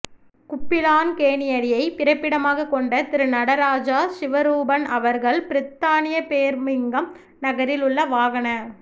குப்பிழான் கேணியடியை பிறப்பிடமாக கொண்ட திரு நடராஜா சிவரூபன் அவர்கள் பிரித்தானியா பேர்மிங்கம் நகரில் உள்ள வாகன